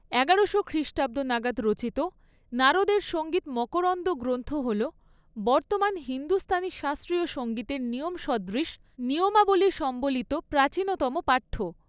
এগারোশো খ্রিষ্টাব্দ নাগাদ রচিত নারদের সঙ্গীত মকরন্দ গ্রন্থ হল বর্তমান হিন্দুস্তানি শাস্ত্রীয় সঙ্গীতের নিয়ম সদৃশ নিয়মাবলি সম্বলিত প্রাচীনতম পাঠ্য।